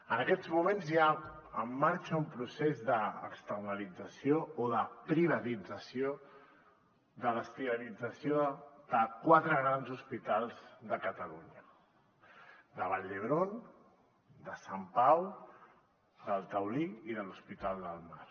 en aquests moments hi ha en marxa un procés d’externalització o de privatització de l’esterilització de quatre grans hospitals de catalunya de vall d’hebron de sant pau del taulí i de l’hospital del mar